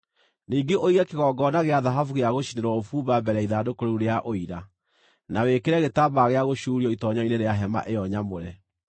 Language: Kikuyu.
Ningĩ ũige kĩgongona gĩa thahabu gĩa gũcinĩrwo ũbumba mbere ya Ithandũkũ rĩu rĩa Ũira, na wĩkĩre gĩtambaya gĩa gũcuurio itoonyero-inĩ rĩa hema ĩyo nyamũre.